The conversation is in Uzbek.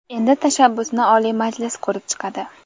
Endi tashabbusni Oliy Majlis ko‘rib chiqadi.